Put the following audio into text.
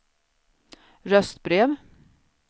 röstbrev